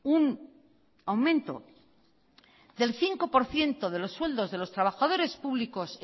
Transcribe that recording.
un aumento del cinco por ciento de los sueldos de los trabajadores públicos